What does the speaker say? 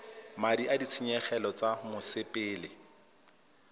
madi a ditshenyegelo tsa mosepele